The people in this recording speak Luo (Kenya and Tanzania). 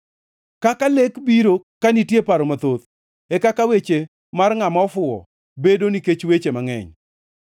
Kaka lek biro ka nitie paro mathoth, e kaka weche mar ngʼama ofuwo bedo nikech weche mangʼeny.